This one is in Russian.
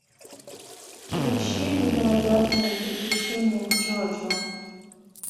включи невероятные приключения джоджо